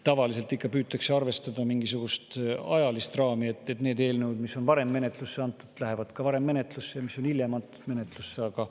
Tavaliselt püütakse arvestada mingisugust ajalist raami ja need eelnõud, mis on varem menetlusse antud, lähevad ka menetlusse varem kui need, mis on hiljem menetlusse antud.